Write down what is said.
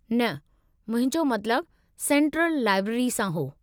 न, मुंहिंजो मतलबु सेंट्रलु लाइब्रेरी सां हो।